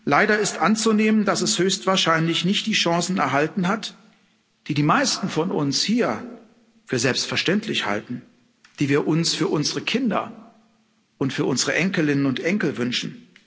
Leider ist anzunehmen, dass es höchstwahrscheinlich nicht die Chancen erhalten hat, die die meisten von uns hier für selbstverständlich halten, die wir uns für unsere Kinder und für unsere Enkelinnen und Enkel wünschen.